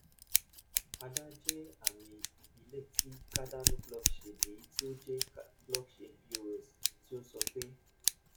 ada jẹ àmì ìbílẹ ti cardano blockchain èyí tí ó jẹ́ blockchain pos tí ó sọ pé